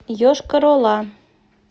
йошкар ола